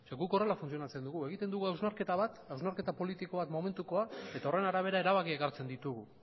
guk horrela funtzionatzen dugu egiten dugu hausnarketa bat hausnarketa politikoa momentukoa eta horren arabera erabakiak hartzen ditugu